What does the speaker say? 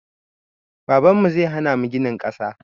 Babanmu zai hana mu ginin ƙasa